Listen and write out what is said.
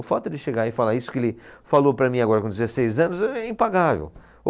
O fato dele chegar e falar isso que ele falou para mim agora com dezesseis anos é, é impagável.